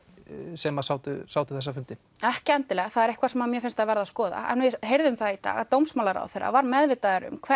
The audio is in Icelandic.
sem sátu sátu þessa fundi ekki endilega það er eitthvað sem mér finnst að verði að skoða en við heyrðum það í dag að dómsmálaráðherra var meðvitaður um